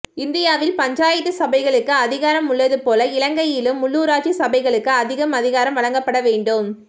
இந்தியாவில் பஞ்சாயத்து சபைகளுக்கு அதிகாரம் உள்ளது போல இலங்கையிலும் உள்ளுராட்சி சபைகளுக்கு அதிகம் அதிகாரம் வழங்கப்பட வேண்டும்